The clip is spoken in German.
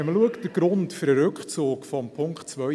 Wenn man den Grund für den Rückzug des Punkts 2 betrachtet: